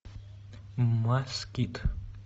москит